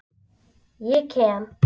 Ég kem.